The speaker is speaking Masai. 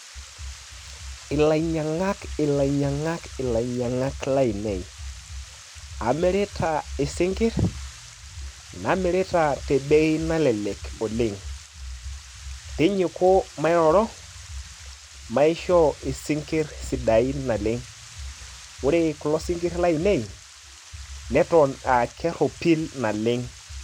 Ilainyang'ak ilainyang'ak ilainyang'ak lainei, amirita isinkirr, namirita tebei nalelek oleng'. Tinyiku mairoro, maishoo isinkirr sidain naleng'. Ore kulo sinkirr lainei, neton ah kerropil naleng'.